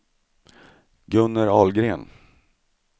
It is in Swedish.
Gunnel Ahlgren